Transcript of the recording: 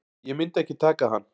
Ég myndi ekki taka hann.